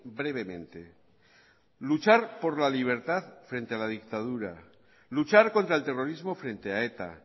brevemente luchar por la libertad frente a la dictadura luchar contra el terrorismo frente a eta